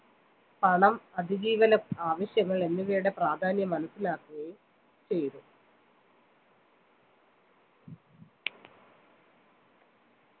പണം അതിജീവനം ആവശ്യം എന്നിവയുടെ പ്രാധാന്യം മനസിലാക്കുകയും ചെയ്‌തു